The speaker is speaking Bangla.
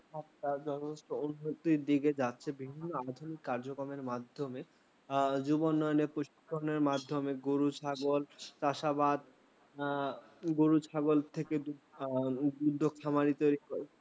বাজার ব্যবস্থাপনা উন্নতির দিকে যাচ্ছে বিভিন্ন আধুনিক কার্যক্রমের মাধ্যমে। হ্যাঁ যুব উন্নয়নের পশুপালন এর মাধ্যমে গরু ছাগল চাষ, আবাদ গরু ছাগল থেকে উদ্যোক্তা খামারি তৈরি